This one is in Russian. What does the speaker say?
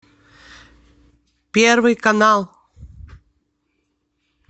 первый канал